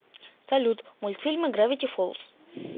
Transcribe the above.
салют мультфильмы гравити фолз